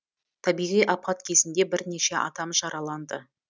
табиғи апат кезінде бірнеше адам жараланды